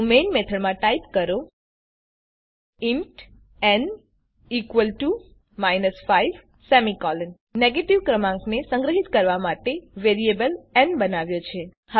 તો મેઈન મેથડમાં ટાઈપ કરો ઇન્ટ ન માઇનસ 5 આપણે નેગેટીવ ક્રમાંકને સંગ્રહીત કરવા માટે વેરીએબલ ન બનાવ્યો છે